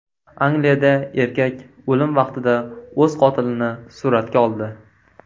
Angliyada erkak o‘lim vaqtida o‘z qotilini suratga oldi.